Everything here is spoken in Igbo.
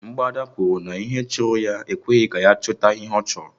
Mgbada kwuru na ihe chụrụ ya ekweghị ya chụta ihe ọ chọrọ